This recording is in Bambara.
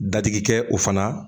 Dadigikɛ o fana